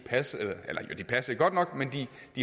passede men